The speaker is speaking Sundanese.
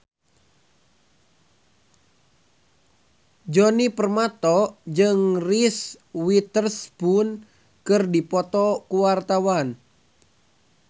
Djoni Permato jeung Reese Witherspoon keur dipoto ku wartawan